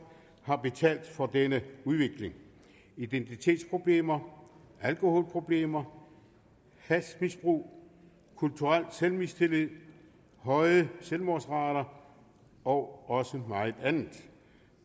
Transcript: har betalt for denne udvikling identitetsproblemer alkoholproblemer hashmisbrug kulturel selvmistillid høje selvmordsrater og meget andet